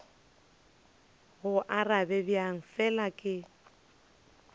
go arabe bjang fela ke